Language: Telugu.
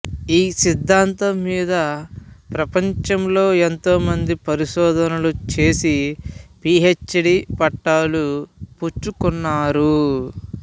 ఈ సిద్ధాంతం మీద ప్రపంచంలో ఎంతోమంది పరిశోధనలు చేసి పి హెచ్ డి పట్టాలు పుచ్చుకున్నారు